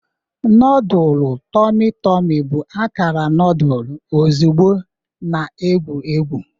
Nodulu tormi tormi bụ akara noodle ozugbo na-ewu ewu.